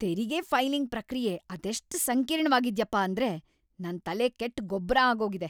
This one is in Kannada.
ತೆರಿಗೆ ಫೈಲಿಂಗ್ ಪ್ರಕ್ರಿಯೆ ಅದೆಷ್ಟ್ ಸಂಕೀರ್ಣವಾಗಿದ್ಯಪ್ಪ ‌ಅಂದ್ರೆ ನನ್ ತಲೆ ಕೆಟ್ಟ್‌ ಗೊಬ್ರ ಆಗೋಗಿದೆ!